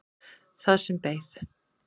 Það sem beið.